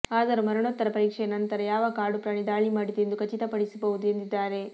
ಆದರು ಮರಣೋತ್ತರ ಪರಿಕ್ಷೇಯ ನಂತರ ಯಾವ ಕಾಡು ಪ್ರಾಣಿ ದಾಳಿ ಮಾಡಿದೆ ಎಂದು ಖಚಿತ ಪಡಿಸಬಹುದು ಎಂದಿದ್ದಾರೆ